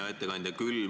Hea ettekandja!